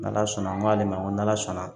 N' ala sɔnna n k'ale ma n ko n'ala sɔnna